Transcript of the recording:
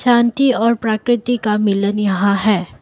और प्राकृति का मिलन यहाँ है।